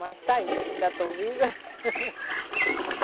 Mas está aí, ainda estou viva.